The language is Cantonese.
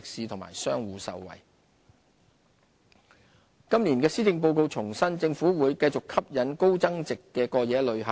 提升吸引力今年的施政報告重申，政府會繼續吸引高增值的過夜旅客。